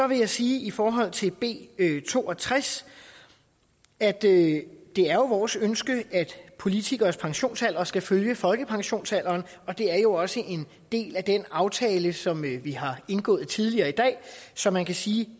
vil jeg sige i forhold til b to og tres at det er vores ønske at politikeres pensionsalder skal følge folkepensionsalderen og det er jo også en del af den aftale som vi har indgået tidligere i dag så man kan sige at